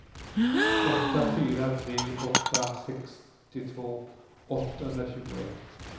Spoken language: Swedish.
åtta fyra tre åtta sextiotvå åttahundratjugoett